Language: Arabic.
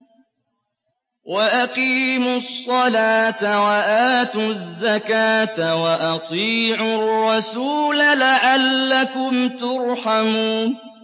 وَأَقِيمُوا الصَّلَاةَ وَآتُوا الزَّكَاةَ وَأَطِيعُوا الرَّسُولَ لَعَلَّكُمْ تُرْحَمُونَ